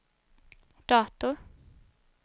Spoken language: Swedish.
dator